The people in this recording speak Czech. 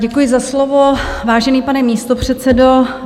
Děkuji za slovo, vážený pane místopředsedo.